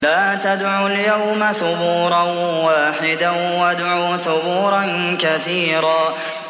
لَّا تَدْعُوا الْيَوْمَ ثُبُورًا وَاحِدًا وَادْعُوا ثُبُورًا كَثِيرًا